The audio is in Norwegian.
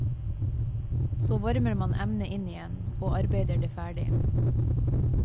Så varmer man emnet inn igjen, og arbeider det ferdig.